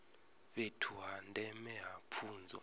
fhethu ha ndeme ha pfunzo